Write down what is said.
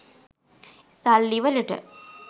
සල්ලි වලට